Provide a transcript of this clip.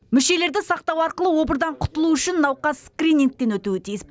мүшелерді сақтау арқылы обырдан құтылу үшін науқас скринигтен өтуі тиіс